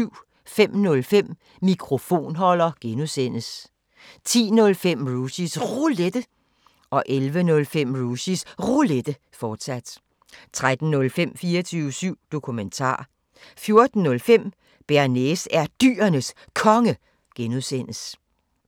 05:05: Mikrofonholder (G) 10:05: Rushys Roulette 11:05: Rushys Roulette, fortsat 13:05: 24syv Dokumentar 14:05: Bearnaise er Dyrenes Konge (G)